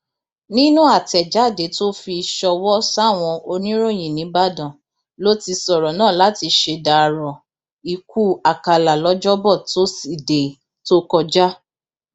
nínú àtẹjáde tó fi ṣọwọ sáwọn oníròyìn nìbàdàn ló ti sọrọ náà láti ṣèdàrọ ikú àkàlà lọjọbọ tosidee tó kọjá